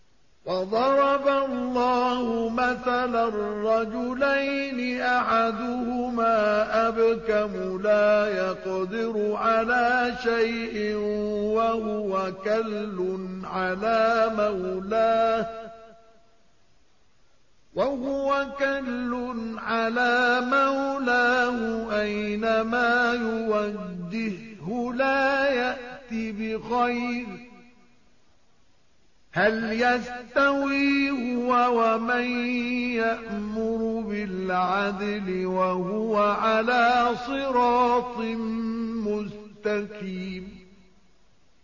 وَضَرَبَ اللَّهُ مَثَلًا رَّجُلَيْنِ أَحَدُهُمَا أَبْكَمُ لَا يَقْدِرُ عَلَىٰ شَيْءٍ وَهُوَ كَلٌّ عَلَىٰ مَوْلَاهُ أَيْنَمَا يُوَجِّههُّ لَا يَأْتِ بِخَيْرٍ ۖ هَلْ يَسْتَوِي هُوَ وَمَن يَأْمُرُ بِالْعَدْلِ ۙ وَهُوَ عَلَىٰ صِرَاطٍ مُّسْتَقِيمٍ